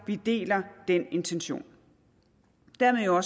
vi deler den intention dermed jo